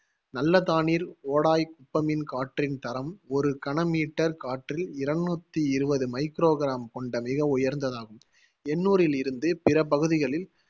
நல்லதானீர் ஒடாய் குப்பமின் காற்றின் தரம் ஒரு கன meter காற்றில் இருநூத்தி இருவது microgram கொண்ட மிக உயர்ந்ததாகும். என்னூரில் இருந்து பிற பகுதிகளில்